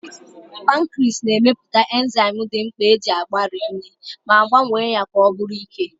Pankriis na-emepụta enzaịm dị mkpa iji gbarie nri ma gbanwee ya ka ọ bụrụ ike.